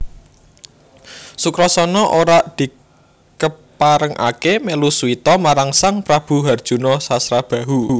Sukrasana ora dikeparengake melu suwita marang Sang Prabu Harjuna Sasrabahu